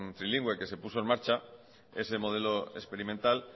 trilingüe que se puso en marcha ese modelo experimental